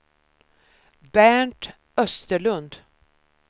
Bernt Österlund